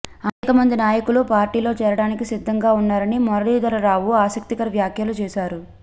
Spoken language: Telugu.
అనేకమంది నాయకులు పార్టీలో చేరడానికి సిద్ధంగా ఉన్నారని మురళీధర రావు ఆసక్తికర వ్యాఖ్యలు చేశారు